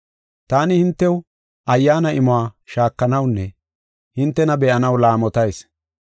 Taani hintew Ayyaana imuwa shaakanawunne hintena be7anaw laamotayis.